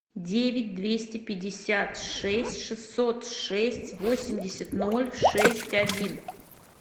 девять двести пятьдесят шесть шестьсот шесть восемьдесят ноль шесть один